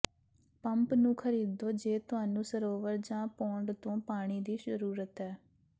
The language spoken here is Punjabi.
ਪੰਪ ਨੂੰ ਖਰੀਦੋ ਜੇ ਤੁਹਾਨੂੰ ਸਰੋਵਰ ਜਾਂ ਪੋਂਡ ਤੋਂ ਪਾਣੀ ਦੀ ਜ਼ਰੂਰਤ ਹੈ